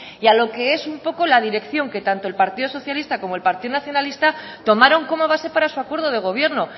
y a lo que es un poco la dirección que tanto el partido socialista como el partido nacionalista tomaron como base para su acuerdo de gobierno